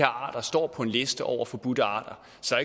arter står på en liste over forbudte arter så